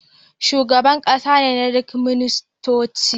Shugaban ƙasa ne nadin ministoci